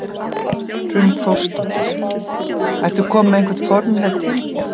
Hrund Þórsdóttir: Ertu kominn með einhver formleg tilboð?